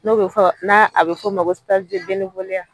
N'o bɛ fɔ n'a a bɛ f'ɔ ma ko